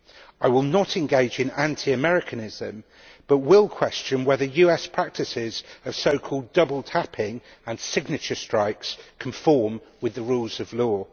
I will not engage in anti Americanism but will question whether the US practices of so called double tapping and signature strikes conform with the rules of law.